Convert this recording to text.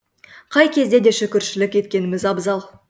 қай кезде де шүкіршілік еткеніміз абзал